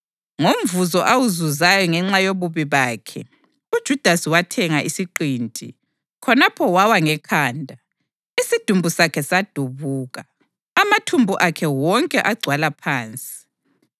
(Ngomvuzo awuzuzayo ngenxa yobubi bakhe, uJudasi wathenga isiqinti; khonapho wawa ngekhanda, isidumbu sakhe sadubuka, amathumbu akhe wonke agcwala phansi.